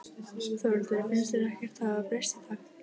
Þórhildur: Finnst þér ekkert hafa breyst í dag?